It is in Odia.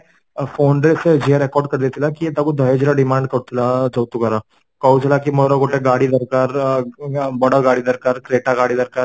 phone ରେ ସେ ଝିଅ record କରି ଦେଇଥିଲା କି ୟେ ତାକୁ ଦହେଜ ର demand କରୁଥିଲା ଯୌତୁକର କହୁଥିଲା କି ମତେ ଗୋଟେ ଗାଡି ଦରକାର ଅ ବଡ଼ ଗାଡି ଦରକାର Create ଗାଡି ଦରକାର